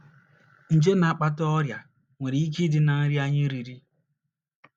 Nje na - akpata ọrịa nwere ike ịdị ná nri anyị riri.